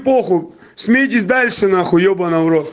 похуй смейтесь дальше нахуй ебаный в рот